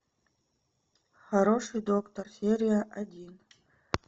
хороший доктор серия один